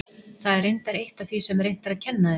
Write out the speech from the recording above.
Það er reyndar eitt af því sem reynt er að kenna þeim.